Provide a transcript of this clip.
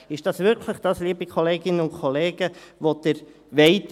Ist es wirklich das, liebe Kolleginnen und Kollegen, was Sie wollen?